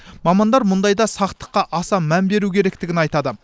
мамандар мұндайда сақтыққа аса мән беру керектігін айтады